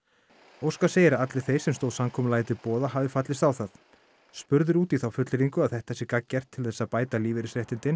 óskar segir að allir þeir sem stóð samkomulagið til boða hafi fallist á það spurður út í þá fullyrðingu að þetta sé gagngert til þess að bæta lífeyrisréttindin